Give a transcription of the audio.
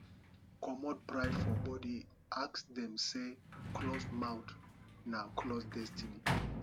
comot pride for body ask dem sey closed mouth na closed destiny